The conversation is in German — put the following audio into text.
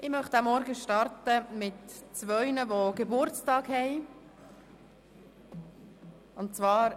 Ich möchte diesen Morgen mit der Ankündigung zweier Geburtstage beginnen.